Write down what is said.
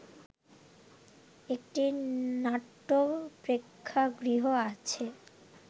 একটি নাট্য প্রেক্ষাগৃহ আছে